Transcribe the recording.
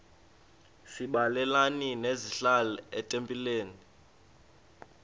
sabelani zenihlal etempileni